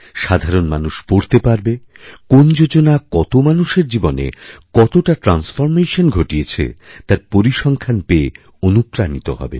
সাধারণ মানুষ পড়তে পারবে কোন যোজনা কতমানুষের জীবনে কতটা ট্রান্সফরমেশন ঘটিয়েছে তার পরিসংখ্যান পেয়ে অনুপ্রাণিত হবেন